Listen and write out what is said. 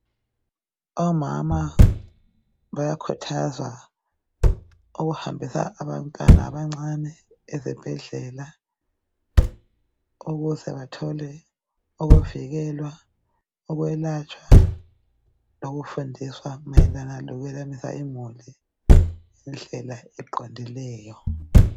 Omama bayakhuthazwa ukuhambisa abantwana abancane esibhedlela ukuze bathole ukuvikelwa, ukwelatshwa lokufundiswa mayelana lokwelamisa imuli ngendlela ieqondileyo.